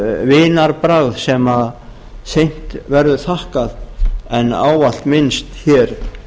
vinarbragð sem seint verður þakkað en ávallt minnst hér